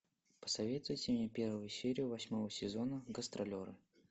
посоветуйте мне первую серию восьмого сезона гастролеры